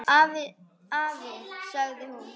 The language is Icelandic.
Afi, sagði hún.